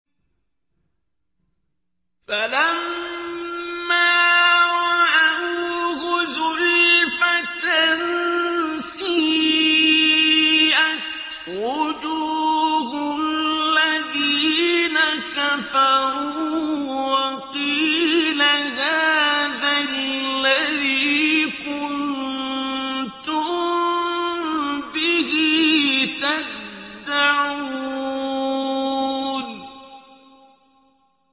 فَلَمَّا رَأَوْهُ زُلْفَةً سِيئَتْ وُجُوهُ الَّذِينَ كَفَرُوا وَقِيلَ هَٰذَا الَّذِي كُنتُم بِهِ تَدَّعُونَ